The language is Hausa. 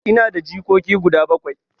Ina da jikoki guda bakwai.